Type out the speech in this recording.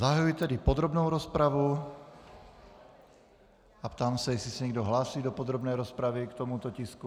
Zahajuji tedy podrobnou rozpravu a ptám se, jestli se někdo hlásí do podrobné rozpravy k tomuto tisku.